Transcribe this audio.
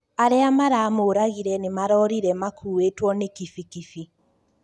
Arĩa maramũragire nĩmarorire makũĩtwo nĩ kibikibi